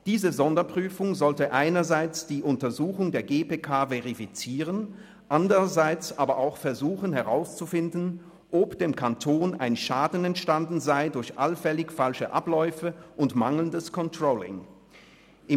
Diese Sonderprüfung sollte einerseits die Untersuchung der GPK verifizieren, andererseits aber auch herauszufinden versuchen, ob dem Kanton ein Schaden durch allfällig falsche Abläufe und mangelndes Controlling entstanden ist.